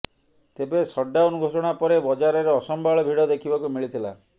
ତେବେ ସଟ୍ଡାଉନ ଘୋଷଣା ପରେ ବଜାରରେ ଅସମ୍ଭାଳ ଭିଡ଼ ଦେଖିବାକୁ ମିଳିଥିଲା